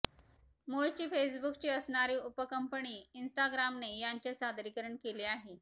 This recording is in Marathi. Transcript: मुळची फेसबुकची असणारी उपकंपनी इंस्टाग्रामने यांचे सादरीकरण केले आहे